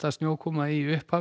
snjókoma í upphafi